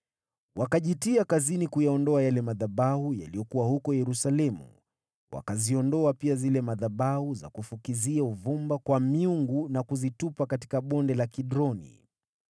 Wakajitia kazini kuyaondoa yale madhabahu yaliyokuwa huko Yerusalemu, wakayaondoa pia yale madhabahu ya kufukizia uvumba kwa miungu na kuyatupa Bonde la Kidroni.